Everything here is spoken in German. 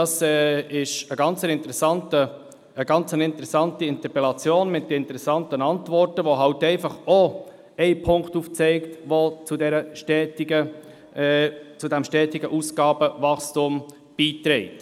Dies ist eine interessante Interpellation mit interessanten Antworten, die auch einen Punkt aufzeigen, der zu diesem stetigen Ausgabenwachstum beiträgt.